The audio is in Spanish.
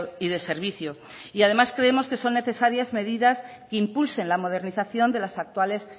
y de servicio y además creemos que son necesarias medidas que impulsen la modernización de las actuales